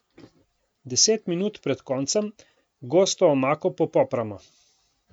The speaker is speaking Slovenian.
Deset minut pred koncem gosto omako popopramo.